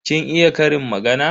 Kin iya ƙarin magana?